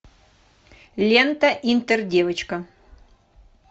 лента интердевочка